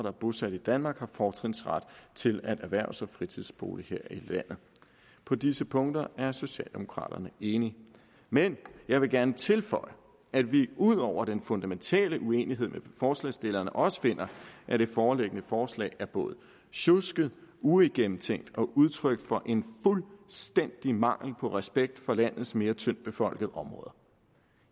er bosat i danmark har fortrinsret til at erhverve sig en fritidsbolig her i landet på disse punkter er socialdemokraterne enige men jeg vil gerne tilføje at vi ud over den fundamentale uenighed med forslagsstillerne også finder at det foreliggende forslag er både sjusket uigennemtænkt og udtryk for en fuldstændig mangel på respekt for landets mere tyndtbefolkede områder